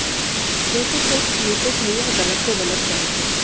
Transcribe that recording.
वे तो सिर्फ सही को सही और गलत को गलत जानते